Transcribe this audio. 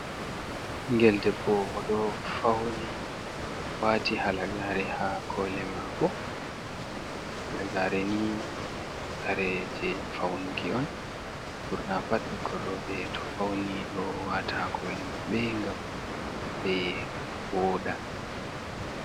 ...ngel debbo o ɗo fauni waati halagaare haa koli maako. lagare ni kare je faunuki on, ɓurna pat ɓikor rooɓe to fauni ɗo waata haa koli ɓe ngam ɓe wooɗa.